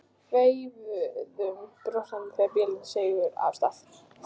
Veifuðum brosandi þegar bílarnir sigu af stað.